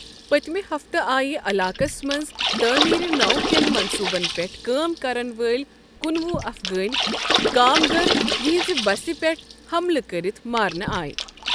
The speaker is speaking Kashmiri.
پٔتمہِ ہفتہٕ آیہ علاقَس منٛز تٔعمیٖرنو كیٚن منصوُبَن پیٹھ كٲم كرن وٲلۍ کُنوُہ افغٲنۍ كامگر ،یہنزِ بسہِ پیٹھ ہملہٕ كرِتھ مارنہٕ آیہِ ۔